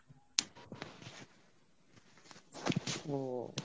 হম